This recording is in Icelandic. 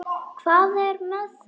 Hvað er með þau?